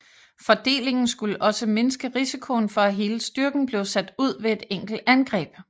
Fordelingen skulle også mindske risikoen for at hele styrken blev sat ud ved et enkelt angreb